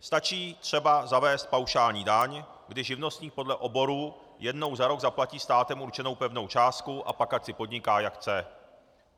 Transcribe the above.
Stačí třeba zavést paušální daň, kdy živnostník podle oboru jednou za rok zaplatí státem určenou pevnou částku, a pak ať si podniká jak chce.